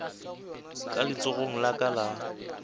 ka letsogong la ka la